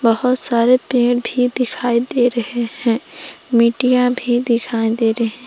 बहुत सारे पेड़ भी दिखाई दे रहे हैं मीडिया भी दिखाई दे रहे--